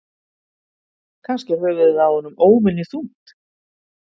Kannski er höfuðið á honum óvenju þungt?